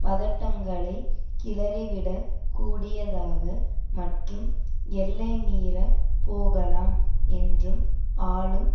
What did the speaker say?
பதட்டங்களைக் கிளறிவிடக் கூடியதாக மற்றும் எல்லைமீறிப் போகலாம் என்றும் ஆளும்